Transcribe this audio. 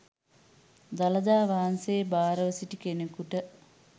දළදා වහන්සේ භාරව සිටි කෙනෙකුට